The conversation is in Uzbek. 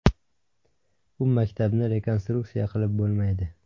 U maktabni rekonstruksiya qilib bo‘lmaydi.